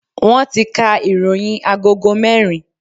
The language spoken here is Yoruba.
Wọn ti ka ìròyìn agogo merin